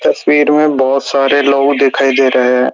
तस्वीर में बहोत सारे लोग दिखाई दे रहे हैं।